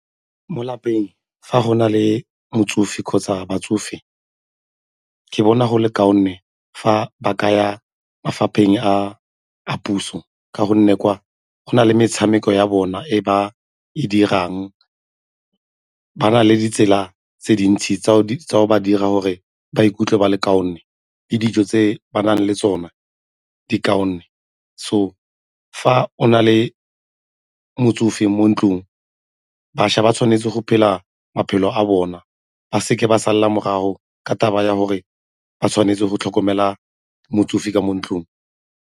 Mo lapeng, fa go na le motsofe kgotsa batsofe, ke bona go le kaone fa ba ka ya mafapheng a puso ka gonne kwa go na le metshameko ya bona e ba e dirang, ba na le ditsela tse dintsi tsa go ba dira gore ba ikutlwe ba le kaone le dijo tse ba nang le tsone di kaone. So, fa o na le motsofe mo ntlong bašwa ba tshwanetse go phela maphelo a bona ba seke ba sala morago ka taba ya gore ba tshwanetse go tlhokomela motsofe ka mo ntlong.